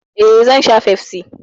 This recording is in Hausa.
Eh, zan sha Pepsi.